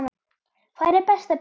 Hvar er best að byrja?